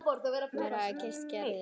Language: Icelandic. Og hér hér hafði hann kysst Gerði.